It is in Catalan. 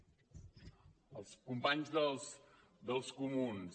als companys dels comuns